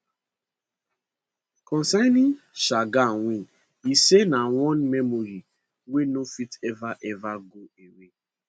concerning shergar win e say na one memory wey no fit ever ever go away